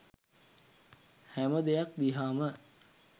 හැම දෙයක් දිහාම